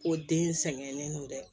Ko den sɛgɛnnen don dɛ